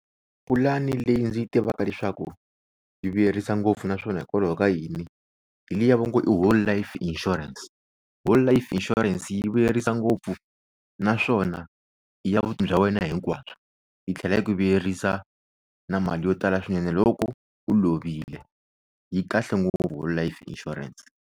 Pulani leyi ndzi yi tivaka leswaku yi vuyerisa ngopfu naswona hikokwalaho ka yini hi liya va ngo i Whole life insurance. Whole life insurance yi vuyerisa ngopfu naswona i ya vutomi bya wena hinkwabyo yi tlhela yi ku vuyerisa na mali yo tala swinene loko u lovile yi kahle ngopfu Whole life insurance.